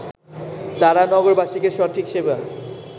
তারা নগরবাসীকে সঠিক সেবা